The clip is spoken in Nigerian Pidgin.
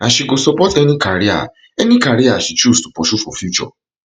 and she go support any career any career she choose to pursue for future